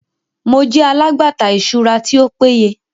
Mo jẹ alagbata iṣura ti o peye